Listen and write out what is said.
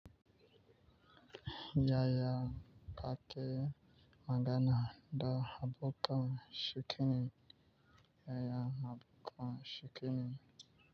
Yaya ka ke magana da abokan chinikina? Yaya habu kan shikinim?